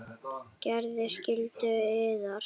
Gerið skyldu yðar!